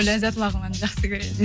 ләззат лагманды жақсы көреді